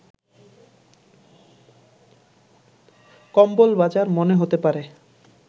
কম্বল বাজার মনে হতে পারে